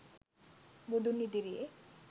බුදුන් ඉදිරියේ